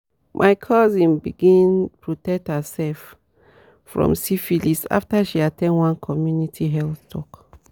my cousin bigns protect herself from syphilis after she at ten d one community health talk."